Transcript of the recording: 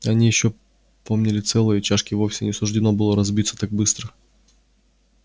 они ещё помнили целое и чашке вовсе не суждено было разбиться так быстро